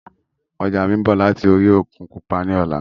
Ọjà mi ń bọ̀ láti orí òkun pupa ni ọ̀la